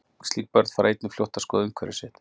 Slík börn fara einnig fljótt að skoða umhverfi sitt.